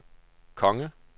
konge